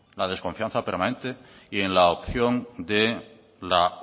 la desconfianza permanente y en la opción de la